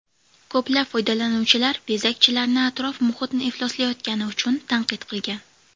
Ko‘plab foydalanuvchilar bezakchilarni atrof-muhitni ifloslayotgani uchun tanqid qilgan.